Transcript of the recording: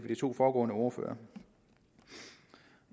to foregående ordførere